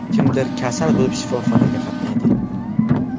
Kimdir kasal bo‘lib shifoxonaga qatnaydi.